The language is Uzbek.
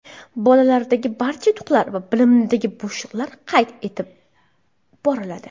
Bolalardagi barcha yutuqlar va bilimidagi bo‘shliqlar qayd etib boriladi.